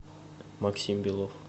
максим белов